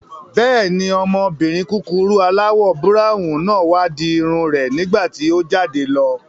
Bẹ́ẹ̀ni, ọmọbìnrin kúkurú aláwọ̀ búráwùn náà wá di irun rẹ̀ nígbàtí o jáde lọ